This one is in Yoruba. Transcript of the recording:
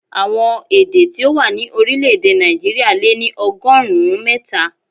Àwọn èdè tí ó wà ní orílè-èdè Nàìjíríà lé ní ọgọ́rùn-ún mẹ́ta.